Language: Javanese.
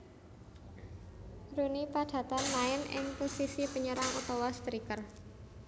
Rooney padatan main ing posisi penyerang utawa striker